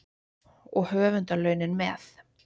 Og höfundarlaunin með.